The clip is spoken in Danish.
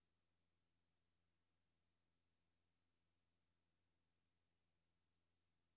B U E F O R M E T